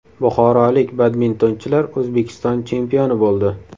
Buxorolik badmintonchilar O‘zbekiston chempioni bo‘ldi.